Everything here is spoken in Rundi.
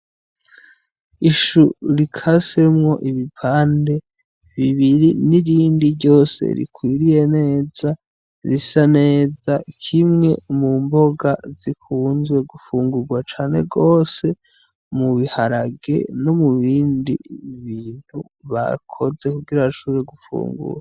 Ishu rikasemwo ibipande bibiri n'irindi ryose rikwiriye neza, risa neza, kimwe mu mboga zikunzwe gufungurwa cane gose mu biharage no mubindi bintu bakoze kugira bashobore gufungura.